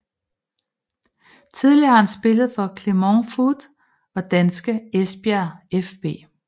Tidligere har han spillet for Clermont Foot og danske Esbjerg fB